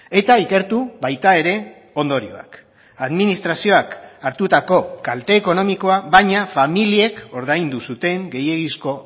eta ikertu baita ere ondorioak administrazioak hartutako kalte ekonomikoa baina familiek ordaindu zuten gehiegizko